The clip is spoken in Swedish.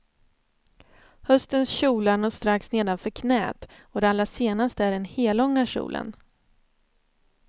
Höstens kjolar når strax nedanför knäet, och det allra senaste är den hellånga kjolen.